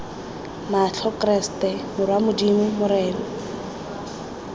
matlho keresete morwa modimo morena